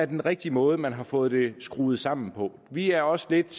den rigtige måde man har fået det skruet sammen på vi er også lidt